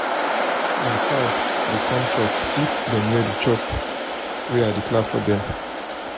my fowl dey come chop if dem hear the clap wey i dey clap for dem.